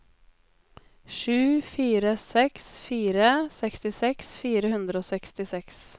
sju fire seks fire sekstiseks fire hundre og sekstiseks